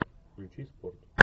включи спорт